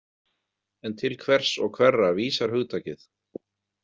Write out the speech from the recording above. En til hvers og hverra vísar hugtakið?